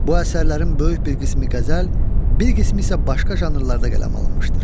Bu əsərlərin böyük bir qismi qəzəl, bir qismi isə başqa janrlarda qələm alınmışdır.